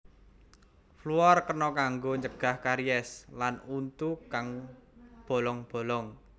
Fluor kena kanggo ncegah karies lan untu kang bolong bolong